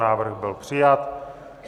Návrh byl přijat.